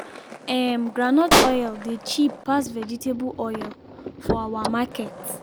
um groundnut oil dey cheap pass vegetable oil for our market.